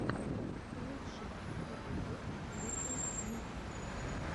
лучший эпизод литтл микс